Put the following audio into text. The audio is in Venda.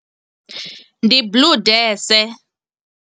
Ndi Blue Death.